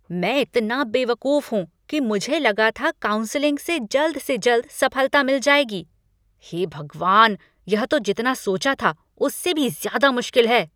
मैं इतना बेवकूफ़ हूँ कि मुझे लगा था काउंसलिंग से जल्द से जल्द सफ़लता मिल जाएगी। हे भगवान! यह तो जितना सोचा था उससे भी ज़्यादा मुश्किल है।